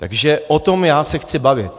Takže o tom já se chci bavit.